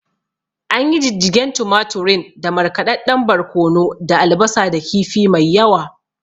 Anyi Jijjigen tumaturin da markaɗadɗen barkono da albasa da kifi mai yawa